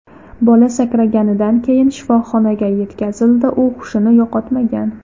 Bola sakraganidan keyin shifoxonaga yetkazildi, u hushini yo‘qotmagan.